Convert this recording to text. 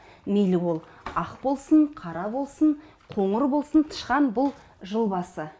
мейлі ол ақ болсын қара болсын қоңыр болсын тышқан бұл жылбасы